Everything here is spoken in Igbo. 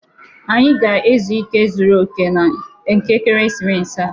Anyị ga-ezu ike zuru oke nke ekeresimesi a